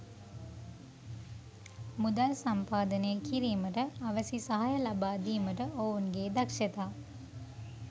මුදල් සම්පාදනය කිරීමට අවැසි සහාය ලබා දීමට ඔවුන්ගේ දක්ෂතා